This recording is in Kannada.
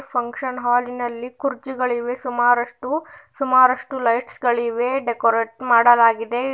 ಫಂಕ್ಷನ್ ಹಾಲಿ ನಲ್ಲಿ ಕುರ್ಚಿಗಳಿವೆ ಸುಮಾರಷ್ಟು ಸುಮಾರಷ್ಟು ಲೈಟ್ಸ್ ಗಳಿವೆ ಡೆಕೋರಟ್ ಮಾಡಲಾಗಿದೆ.